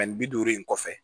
Ani bi duuru in kɔfɛ